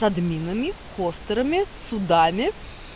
с админами в хостерами судами